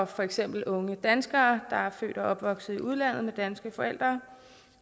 for eksempel unge danskere der er født og opvokset i udlandet med danske forældre